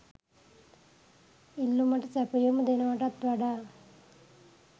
ඉල්ලුමට සැපයුම දෙනවටත් වඩා